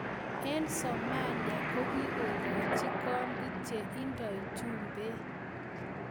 Eng somalia kakikochi kondit che indoi jumbe.